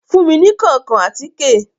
Fun mi ní kankan àtike